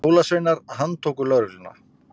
Jólasveinar handtóku lögregluna